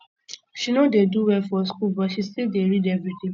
um she no dey do well for skool but she still dey read everyday um